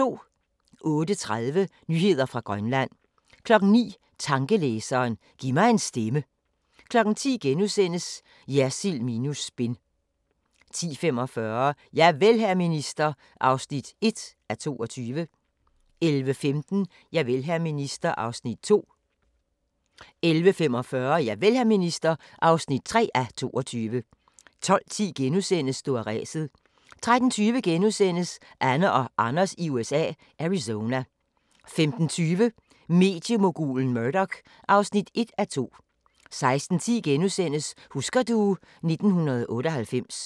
08:30: Nyheder fra Grønland 09:00: Tankelæseren – giv mig en stemme 10:00: Jersild minus spin * 10:45: Javel, hr. minister (1:22) 11:15: Javel, hr. minister (2:22) 11:45: Javel, hr. minister (3:22) 12:10: Stå af ræset * 13:20: Anne og Anders i USA – Arizona * 15:20: Mediemogulen Murdoch (1:2) 16:10: Husker du ... 1998 *